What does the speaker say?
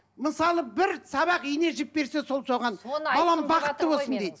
мысалы бір сабақ ине жіп берсе сол соған балам бақытты болсын дейді